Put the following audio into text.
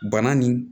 Bana nin